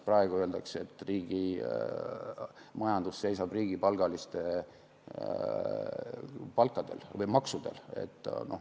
Praegu öeldakse, et riigi majandus seisab riigipalgaliste palkadel või maksudel.